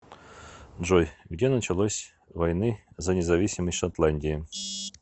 джой где началась войны за независимость шотландии